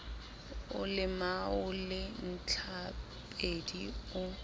o lemao le ntlhapedi o